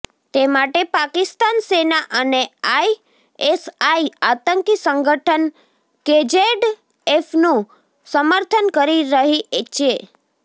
તે માટે પાકિસ્તાન સેના અને આઈએસઆઈ આતંકી સંગઠન કેજેડએફનું સમર્થન કરી રહી ચે